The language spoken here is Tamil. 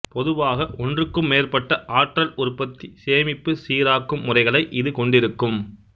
பொதுவாக ஒன்றுக்கும் மேற்பட்ட ஆற்றல் உற்பத்தி சேமிப்பு சீராக்கும் முறைகளை இது கொண்டிருக்கும்